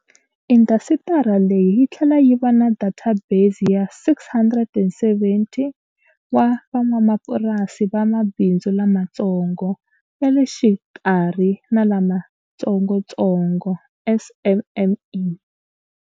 Indasitiri leyi yi tlhela yi va na databesi ya 670 wa van'wamapurasi va mabindzu lamatsongo, ya le xikarhi na lamatsongotsongo, SMME.